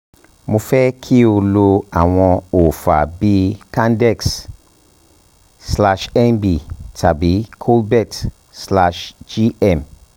mo fẹ́ kí o lo àwọn òòfà bíi candex-nb tàbí clobelt-gm